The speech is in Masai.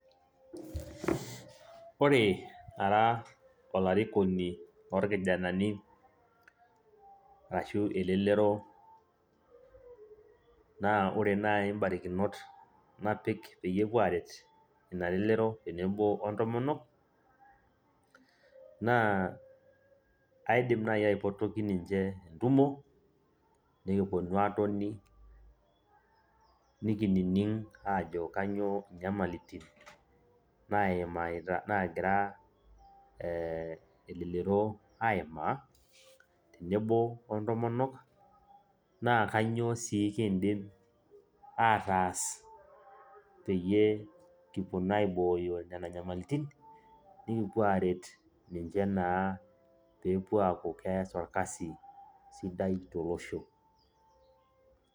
Ore ara olarikoni lorkijanani arashu elelero naa ore naai imbarakinot napik peyie epuo aaret ina lelero tenebo ontomonok naa aidim naai aipotoki ninche entumo nekiponu aatoni nikinining aajo kainyioo inyamalitin naagira elelero aimaa tenebo ontomonok naa kainyioo sii kiidim aataas peyie kiponu aibooyo nena nyamalitin nikipuo aaret ninche naa pee epuo aaku keeta orkasi sidai tolosho.